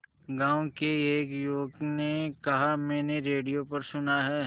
गांव के एक युवक ने कहा मैंने रेडियो पर सुना है